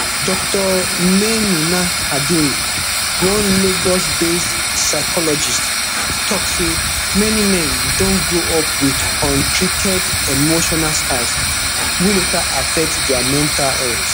dr maynunah kadiri one lagosbased psychologist tok say many men don grow up wit untreated emotional scars wey later affect dia mental health